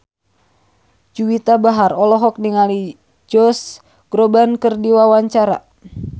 Juwita Bahar olohok ningali Josh Groban keur diwawancara